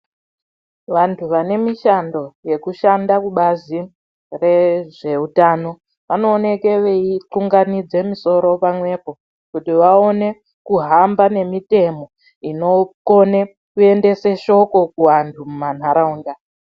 Vantu vane mishando yekushanda kubazi rezveutano vanooneke veiunganidze misoro pamwepo kuti vaone kuhamba nemitemo inokone kuendese shoko kuangu mumantaraunda.